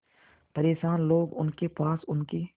परेशान लोग उनके पास उनकी